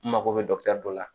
N mago bɛ dɔ la